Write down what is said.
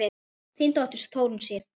Þín dóttir, Þórunn Sif.